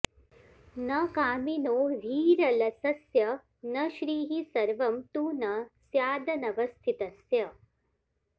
न कामिनो ह्रीरलसस्य न श्रीः सर्वं तु न स्यादनवस्थितस्य